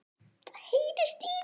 Af hverju ekki að nota?